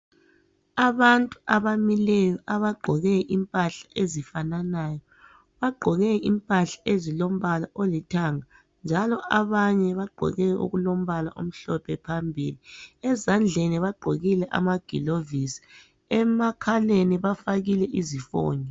Abantu abamileyo abagqoke impahla ezifananayo bagqoke impahla ezilombala olithanga, njalo abanye bagqoke okulombala omhlophe phambili, ezandleni bagqokile amagilovisi emakhaleni bafakile izifonyo.